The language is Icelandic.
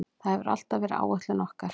Það hefur alltaf verið áætlun okkar.